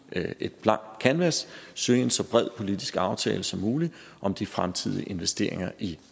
et blankt kanvas søge en så bred politisk aftale som muligt om de fremtidige investeringer i